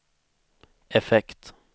effekt